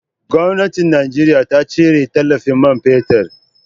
Gwamnatin Najeriya ta cire tallafin man fetir.